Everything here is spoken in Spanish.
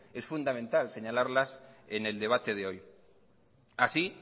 y fundamental señalarlas en el debate de hoy así